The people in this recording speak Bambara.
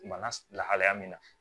Bana lahalaya min na